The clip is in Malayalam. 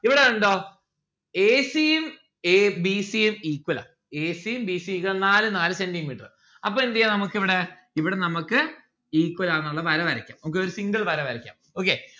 ഇവിടെ കണ്ടോ a c ഉം a b c ഉം equal ആണ് a c ഉം b c ഉം equal നാല് നാല് centi metre അപ്പൊ എന്തെയ്യാ നമ്മുക്ക് ഇവിടെ ഇവിടെ നമ്മുക്ക് equal ആന്നുള്ള വര വരക്കാം നമ്മുക്കൊരു single വര വരക്കാം okay